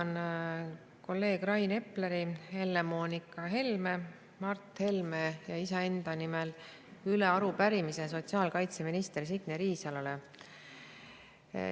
Annan kolleegide Rain Epleri, Helle-Moonika Helme ja Mart Helme ning iseenda nimel üle arupärimise sotsiaalkaitseminister Signe Riisalole.